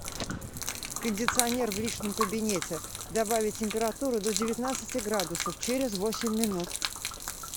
кондиционер в личном кабинете добавить температуру до девятнадцати градусов через восемь минут